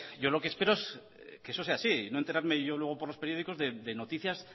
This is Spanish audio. yo lo que espero es que eso sea así no enterarme yo luego por los periódicos de noticias